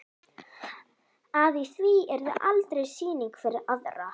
Að í því yrði aldrei sýning fyrir aðra.